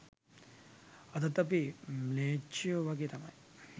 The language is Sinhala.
අදත් අපි ම්ලේච්චයෝ වගේ තමයි